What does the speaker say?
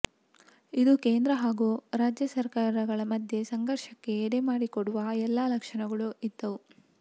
ಇದು ಕೇಂದ್ರ ಹಾಗೂ ರಾಜ್ಯ ಸರ್ಕಾರಗಳ ಮಧ್ಯೆ ಸಂಘರ್ಷಕ್ಕೆ ಎಡೆಮಾಡಿಕೊಡುವ ಎಲ್ಲ ಲಕ್ಷಣಗಳೂ ಇದ್ದವು